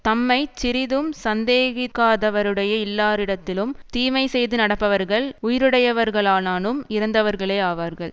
தம்மைச் சிறிதும் சந்தேகிக்காதவருடைய இல்லாளிடத்திலும் தீமை செய்து நடப்பவர்கள் உயிருடையவர்களானாலும் இறந்தவர்களே ஆவார்கள்